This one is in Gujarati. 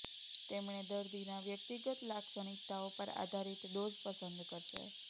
તેમણે દર્દીના વ્યક્તિગત લાક્ષણિકતાઓ પર આધારિત ડોઝ પસંદ કરશે